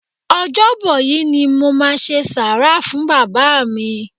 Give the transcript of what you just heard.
Ọjọ́ bọ̀ yí ni mo máa ṣe sàárà fún Bàbá mi.